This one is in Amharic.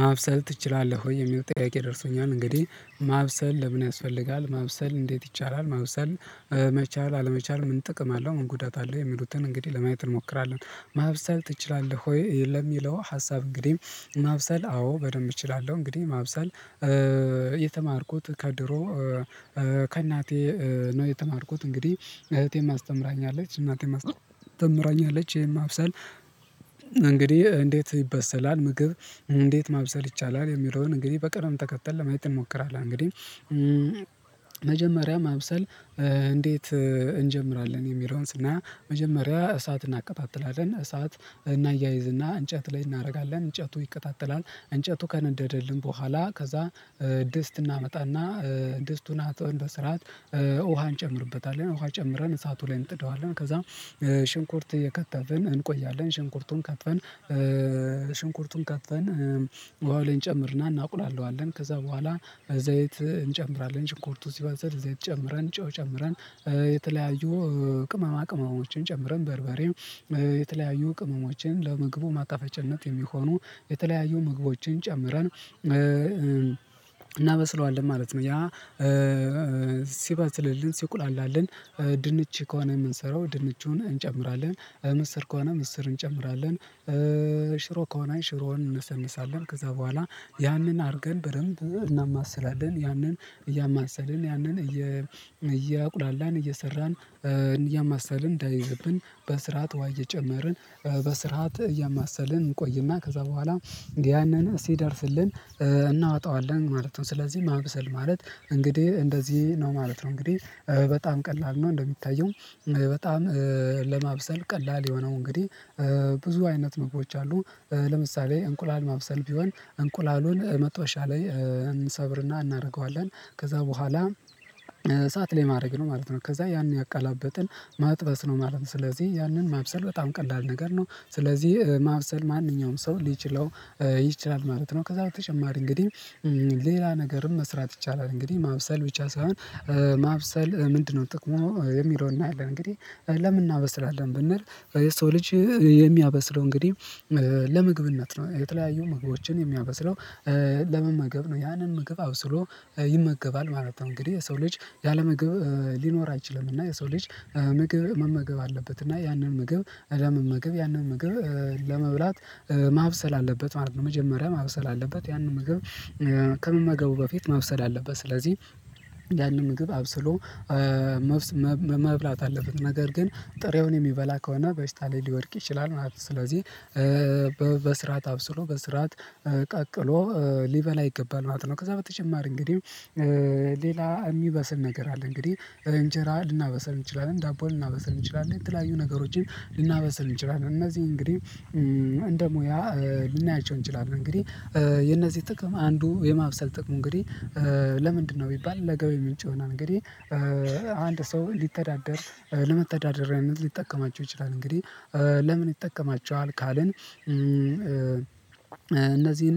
ማብሰል ትችላለህ ወይ የሚለው ጥያቄ ደርሶኛል እንግዲህ ማብሰል ለምን ያስፈልጋል ማብሰል እንዴት ይቻላል ማብሰል መቻል አለመቻል ምን ጥቅም አለው ምን ጉዳት አለው የሚሉትን እንግዲህ ለማየት እንሞክራለን ማብሰል ትችላለህ ወይ? ለሚለው ሀሳብ እንግዲህ ማብሰል አዎ በደንብ እችላለሁ እንግዲህ ማብሰል የተማርኩት ከድሮ ከእናቴ ነው የተማርኩት እንግዲህ እህቴም አስተምራኛለች እናቴም አስተምራኛለች ይሄን ማብሰል እንግዲህ እንዴት ይበሰላል ምግብ እንዴት ማብሰል ይቻላል የሚለውን እንግዲህ በቅርብ ተከተል ለማየት እንሞክራለን። እንግዲህ መጀመሪያ ማብሰል እንዴት እንጀምራለን የሚለውን ስናይ መጀመሪያ እሳት እናቀጣጥላለን እሳት እናያይዝና እንጨት ላይ እናደርጋለን እንጨቱ ይቀጣጠራል እንጨቱ ከነደደልን በኋላ ከዛ ድስት እናመጣና ድስቱን አጥበን በስርዓት ውሃን እጨምርበታል ውሃ ጨምረን እሳቱ ላይ እንጥደዋለን ከዛም ሽንኩርት እየከተፍን እንቆያለን ሽንኩርቱን ከተን ሽንኩርቱን ከትፈን ውሃው ላይ እንጨምርና እናቁላላዋለን ከዛ በኋላ በዘይት እንጨምራለን ሽንኩርቱ ሲበስል ዘይት ጨምረን ጨው ጨምረን የተለያዩ ቅመማ ቅመሞችን ጨምረን በርበሬም የተለያዩ ቅመሞችን ለምግቡ ማጣፈጨነት የሚሆኑ የተለያዩ ምግቦችን ጨምረን እናበስለዋለን ማለት ነው። ያ ሲበስልልን ሲቁላላልን ድንች ከሆነ የምንሰራው ድንቹን እንጨምራለን ምስር ከሆነ ምስር እንጨምራለን ሽሮ ከሆነ ሽሮውን እነሰንሳለን ከዛ በኋላ ያንን አድርገን በደንብ እናማስላለን ያንን እያማሰልን ያንን እያቁላላን እየሰራን እያማሰልን እንዳይዘብን በስርዓት ውሃ እየጨመርን በስርዓት እያማሰልን እንቆይና ከዛ በኋላ ያንን ሲደርስልን እናወጣዋለን ማለት ነው። ስለዚህ ማብሰል ማለት እንግዲህ እንደዚህ ነው ማለት ነው እንግዲህ በጣም ቀላል ነው። እንደሚታየው በጣም ለማብሰል ቀላል የሆነው እንግዲህ ብዙ አይነት ምግቦች አሉ ለምሳሌ እንቁላል ማብሰል ቢሆን እንቁላሉን መጥበሻ ላይ እንሰብርና እናደርገዋለን ከዛ በኋላ እሳት ላይ ማድረግ ነው ማለት ነው ከዛ ያን ያገላበጥን መጥበስ ነው ማለት ነው ስለዚህ ያንን ማብሰል በጣም ቀላል ነገር ነው ስለዚህ ማብሰል ማንኛውም ሰው ሊችለው ይችላል ማለት ነው። ከዛ በተጨማሪ እንግዲህ ሌላ ነገርም መስራት ይቻላል እንግዲህ ማብሰል ብቻ ሳይሆን ማብሰል ምንድነው? ጥቅሙ የሚለውን እናያለን እንግዲህ ለምን እናበስላለን ብንል የሰው ልጅ የሚያበስለው እንግዲህ ለምግብነት ነው የተለያዩ ምግቦችን የሚያበስለው ለመመገብ ነው ያንን ምግብ አብስሎ ይመገባል ማለት ነው። እንግዲህ የሰው ልጅ ያለመግብ ሊኖር አይችልም እና የሰው ልጅ ምግብ መመገብ አለበት እና ያንን ምግብ ለመመገብ ያንን ምግብ ለመብላት ማብሰል አለበት ማለት ነው። መጀመሪያ ማብሰል አለበት ያንን ምግብ ከመመገቡ በፊት ማብሰል አለበት ስለዚህ ያንን ምግብ አብስሎ መብላት አለበት ነገር ግን ጥሬውን የሚበላ ከሆነ በሽታ ላይ ሊወድቅ ይችላል ማለት ነው ስለዚህ በስርዓት አብስሎ በስርዓት ቀቅሎ ሊበላ ይገባል ማለት ነው። ከዛ በተጨማሪ እንግዲህ ሌላ የሚበስል ነገር አለ እንግዲህ እንጀራ ልናበሰል እንችላለን ዳቦ ልናበሰል እንችላለን የተለያዩ ነገሮችን ልናበስል እንችላለን እነዚህ እንግዲህ እንደ ሙያ ልናያቸው እንችላለን። እንግዲህ የነዚህ ጥቅም አንዱ የማብሰል ጥቅሙ እንግዲህ ለምንድነው ቢባል ለገቢ ምንጭ ይሆናል። እንግዲህ አንድ ሰው ሊተዳደር ለመተዳደሪያ ሊጠቀማቸው ይችላል እንግዲህ ለምን ይጠቀማቸዋል? ካልን እነዚህን